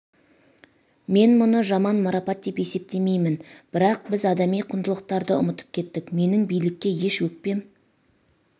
мен мұны жаман марапат деп есептемеймін бірақ біз адами құндылықтарды ұмытып кеттік менің билікке еш өкпем